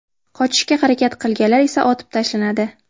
Qochishga harakat qilganlar esa otib tashlanadi.